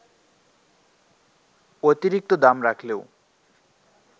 অতিরিক্ত দাম রাখলেও